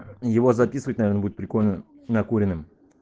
его записывать наверно будет прикольно накуренным